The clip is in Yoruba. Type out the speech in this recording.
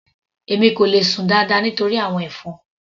Èmi kò le sùn dáadáa nítorí àwọn ẹ̀fọn.